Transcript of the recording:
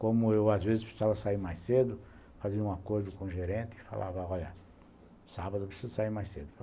Como eu às vezes precisava sair mais cedo, fazer um acordo com o gerente e falava, olha, sábado eu preciso sair mais cedo.